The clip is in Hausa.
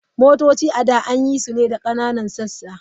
Motoci a da an yi su ne da ƙananan sassa.